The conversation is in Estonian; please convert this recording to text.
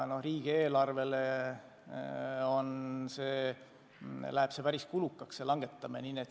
Ja riigieelarvele läheb päris kulukaks selle aktsiisi langetamine.